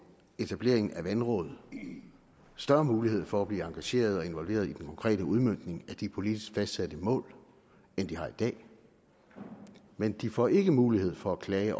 etableringen af vandrådene større mulighed for at blive engagerede og involverede i den konkrete udmøntning af de politisk fastsatte mål end de har i dag men de får ikke mulighed for at klage